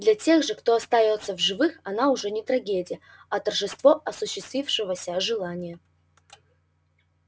для тех же кто остаётся в живых она уже не трагедия а торжество осуществившегося желания